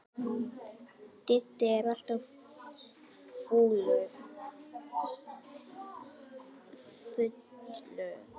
Diddi er alltaf fullur, ekki einusinni orðinn tólf ára.